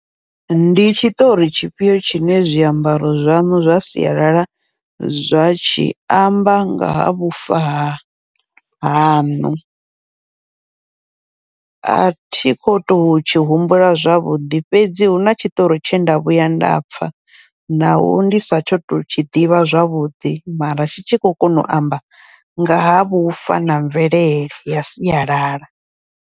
Ndi tshiṱori tshifhio tshine zwiambaro zwaṋu zwa sialala zwa tshi amba nga ha vhufa ha haṋu, athi kho tou tshi humbula zwavhuḓi fhedzi huna tshitori tshenda vhuya nda pfha, naho ndi sa tsho tou tshi ḓivha zwavhuḓi mara tshi tshi khou kona u amba nga ha vhufa na mvelele ya sialala.